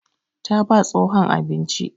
Ta ba tsohon abinci.